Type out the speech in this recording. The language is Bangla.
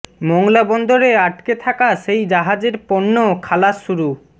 মোংলা বন্দরে আটকে থাকা সেই জাহাজের পণ্য খালাস শুরু